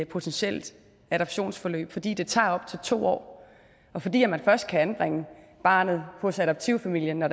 potentielt adoptionsforløb fordi det tager op til to år og fordi man først kan anbringe barnet hos adoptivfamilien når